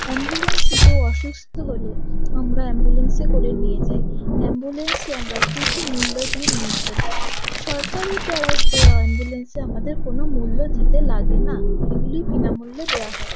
Ambulance কেউ অসুস্থ হলে আমরা অ্যাম্বুলেন্স করে নিয়ে যাই অ্যাম্বুলেন্স আমরা কিছু মূল্যে দিয়ে নিয়ে যেতে পারি সরকারি তরফ দেওয়া অ্যাম্বুলেন্স আমাদের কোনো মূল্য দিতে লাগেনা এগুলি বিনা মূল্যে দেওয়া হয়।